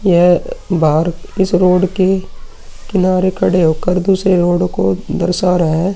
यह बाहर इस रोड के किनारे खड़े होकर दूसरे रोड को दर्शा रहे है।